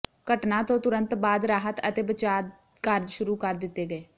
ਘਟਨਾ ਤੋਂ ਤੁਰੰਤ ਬਾਅਦ ਰਾਹਤ ਅਤੇ ਬਚਾਅ ਕਾਰਜ ਸ਼ੁਰੂ ਕਰ ਦਿਤੇ ਗਏ